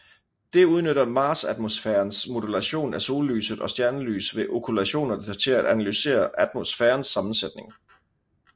Det udnytter marsatmosfærens modulation af sollyset og stjernelys ved okkultationer til at analysere atmosfærens sammensætning